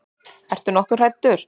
Ertu nokkuð hræddur?